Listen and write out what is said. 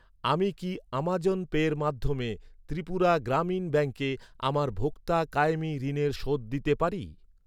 আমি কি আমাজন পের মাধ্যমে ত্রিপুরা গ্রামীণ ব্যাঙ্কে আমার ভোক্তা কায়েমী ঋণের শোধ দিতে পারি?